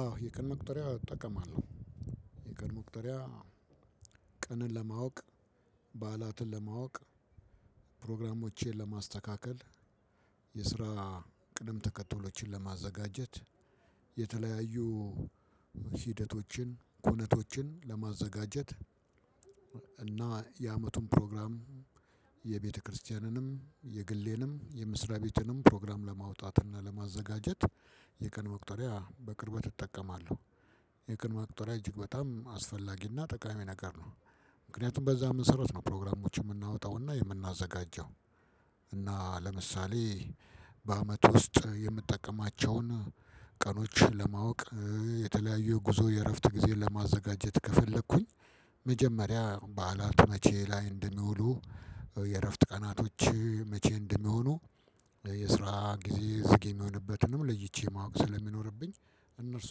አዎ የቀን መቁጠሪያ እጠቀማለሁ የቀን መቁጠሪያ ቀንን ለማወቅ በዓላትን ለማወቅ ፕሮግራሞቼን ለማስተካከል የስራ ቅደም ተከትሎችን ለማዘጋጀት የተለያዩ ሂደቶችን ኩነቶችን ለማዘጋጀት እና የአመቱን ፕሮግራም የቤተክርስቲያንም የግሌንም የመስርያ ቤትንም ፕሮግራም ለማውጣት እና ለማዘጋጀት የቀን መቁጠሪያ በቅርበት እጠቀማለሁ። የቀን መቁጠሪያ እጅግ በጣም አስፈላጊና ጠቃሚ ነገር ነው። ምክንያቱም በዛ መሰረት ነው ፕሮግራሞችን የምናወጣውና የምናዘጋጀው። እና ለምሳሌ በአመት ውስጥ የምጠቀማቸውን ቀኖች ለማወቅ የተለያዩ የጉዞ የእረፍት ጊዜ ለማዘጋጀት ከፈለኩኝ። መጀመሪያ በዓላት መቼ ላይ እንደሚውሉ የእረፍት ቀናቶች መቼ እንደሚሆኑ የስራ ጊዜ ዝግ የሚሆንበትንም ለይቼ ማወቅ ስለሚኖርብኝ እነርሱ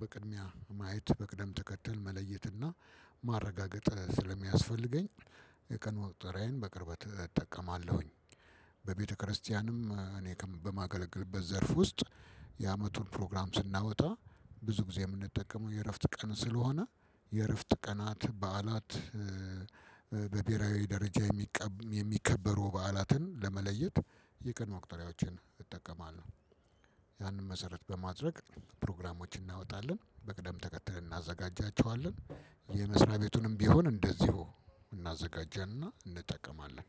በቅድሚያ ማየት በቅደም ተከተል መለየትና ማረጋገጥ ስለሚያስፈልገኝ የቀን መቁጠሪያዬን በቅርበት እጠቀማለሁኝ። በቤተክርስቲያንም እኔ በማገለግልበት ዘርፍ ውስጥ የአመቱን ፕሮግራም ስናወጣ ብዙ ጊዜ የምንጠቀመው የእረፍት ቀን ስለሆነ የእረፍት ቀናት በዓላት በብሄራዊ ደረጃ የሚከበሩ በዓላትን ለመለየት የቀን መቁጠሪያዎችን እጠቀማለሁ። ያንን መሰረት በማድረግ ፕሮግራሞችን እናወጣለን በቅደም ተከተል እናዘጋጃቸዋለን። የመስሪያ ቤቱንም ቢሆን እንደዚሁ እናዘጋጅና እንጠቀማለን።